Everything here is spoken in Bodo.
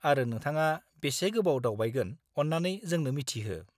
-आरो नोंथाङा बेसे गोबाव दावबायगोन अन्नानै जोंनो मिथिहो।